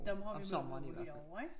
Dem har vi mange af herovre ik?